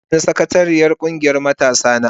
An nada ni sakatariyar kungiyar matasana.